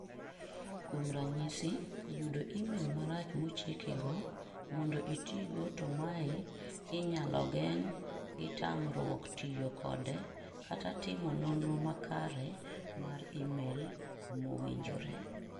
kuom ranyisi yudo email marach mochikigo mondo itigo to mae inyalo geng' gitamruok tiyo kode kata timo nonro makare mar email mowinjre